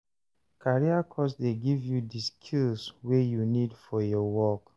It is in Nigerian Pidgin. Career course dey give you di skills wey you need for your work.